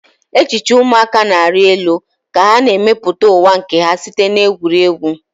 Echiche ụmụaka na-arị elu ka ha na-emepụta ụwa nke ha site na egwuregwu.